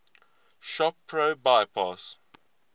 shop pro bypass